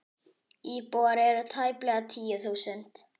Íbúar eru tæplega tíu þúsund.